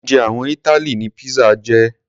Oúnjẹ àwọn Italy ni pizza jẹ́.